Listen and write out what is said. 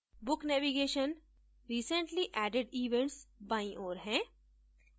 book navigation recently added events बाईं ओर है